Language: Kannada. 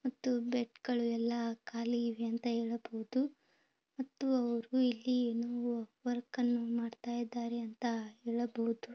ಮತ್ತು ಇಲ್ಲಿ ಬೆಡ್ಗಳು ಎಲ್ಲಾ ಖಾಲಿ ಇದೆ ಅಂತ ಹೇಳಬಹುದು ಮತ್ತೆ ಅವರು ಇಲ್ಲಿ ವರ್ಕ್ ಅನ್ನು ಮಾಡುತ್ತಿದ್ದಾರೆ ಎಂದು ನಾವು ಹೇಳಬಹುದು